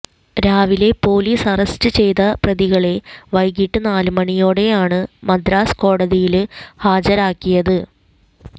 രാവിലെ police arrest ചെയ്ത പ്രതികളെ വൈകിട്ട് നാല് മണിയോടെയാണ് മദ്രാസ് കോടതിയില് ഹാജരാക്കിയത്